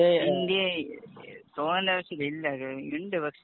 ഇന്ത്യയെ തോന്നണ്ട ആവശ്യം ഇല്ല.ന്‍ ഇണ്ട്